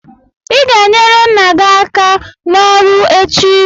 ị ga-enyere nna gị aka n'ọrụ echi!